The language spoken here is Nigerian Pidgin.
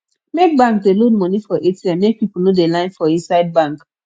make bank dey load moni for atm make pipu no dey line for inside bank